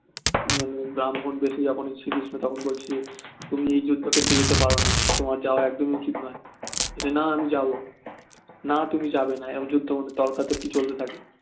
ব্রাহ্মণ বেশে যখন শ্রীকৃষ্ণ তখন বলছে তুমি এই যুদ্ধক্ষেত্রে যেতে পারোনা তোমার যাওয়া একদমই উচিত নয় বলছে না আমি যাবো না তুমি যাবেনা এই যুদ্ধ তর্কাতর্কি চলতে থাকে